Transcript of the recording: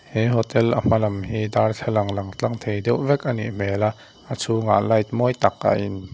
he hotel a hmalam hi darthlalang lang tlang thei deuh vek a nih hmel a a chhungah light mawi tak a in--